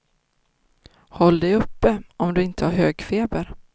Håll dig uppe, om du inte har hög feber.